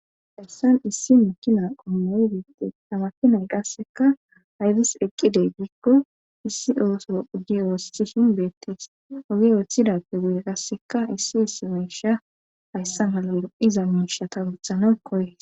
Dayssan issi makina qommoy beete tamakinay qasseka haydis eqqidey giikko issi ooso uge oosthihin beettees ogi weethida pe guye qasseka issi issi meisha hayssa malalo iza miishata wuthana koye.